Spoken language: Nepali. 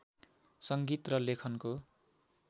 सङ्गीत र लेखनको